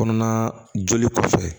Kɔnɔna joli kɔfɛ